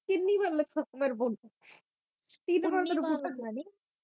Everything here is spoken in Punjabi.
ਕਿੰਨੀ ਵਾਰ ਨਖਸਮੇ ਨੂੰ ਬੋਲੀ ਤਿੰਨ ਵਾਰ ਮੈਨੂੰ ਕੁੱਟਣ